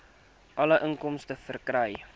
alle inkomste verkry